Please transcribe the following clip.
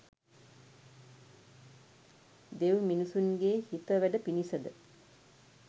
දෙව් මිනිසුන්ගේ හිත වැඩ පිණිස ද